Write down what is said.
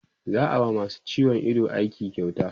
za'a wa masu ciwon Ido aiki kyauta